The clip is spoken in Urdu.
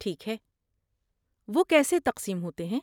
ٹھیک ہے، وہ کیسے تقسیم ہوتے ہیں؟